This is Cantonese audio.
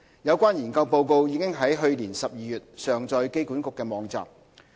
有關研究報告已於去年12月上載機管局網站。